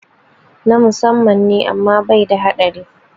Na musamman ne amma bai da haɗari